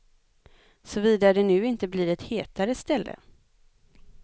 Såvida det nu inte blir ett hetare ställe.